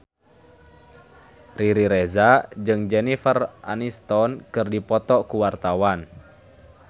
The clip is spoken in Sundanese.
Riri Reza jeung Jennifer Aniston keur dipoto ku wartawan